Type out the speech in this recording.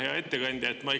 Hea ettekandja!